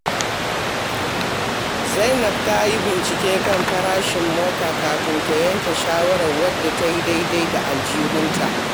Zainab ta yi bincike kan farashin mota kafin ta yanke shawarar wadda ta yi daidai da aljihunta.